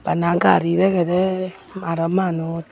bana gari degedey aro manus.